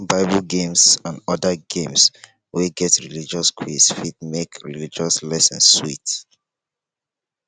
bible games and oda games wey get religious quiz fit make religious lesson sweet